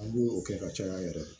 An b'o kɛ ka caya yɛrɛ